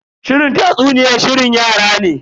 Shirin tatsuniyan shirin yara ne.